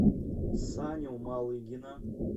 саню малыгина